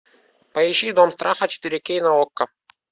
поищи дом страха четыре кей на окко